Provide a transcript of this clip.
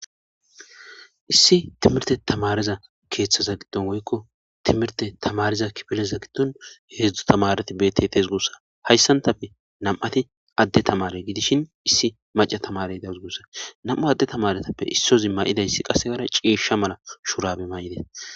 issi timirte tamareza keeththaza giddon woykko timirte tamariza kibeleza giddon heedzdzu tamareti betetes gussa hayssantafe nam7ati adde tamare gidishin issi maca tamare dawgus gussa nam7a adde tamaretappe issozi ma7idayssi qasse gara ceesha mala shurabe may7ide